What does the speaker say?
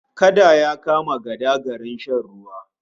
Kada ya kama gada garin shan ruwa